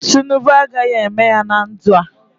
Tinubu agaghị eme ya na ndụ a.